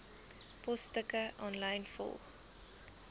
posstukke aanlyn volg